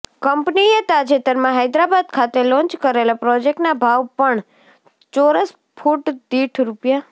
કંપનીએ તાજેતરમાં હૈદરાબાદ ખાતે લોન્ચ કરેલા પ્રોજેક્ટના ભાવ પણ ચોરસ ફૂટ દીઠ રૂ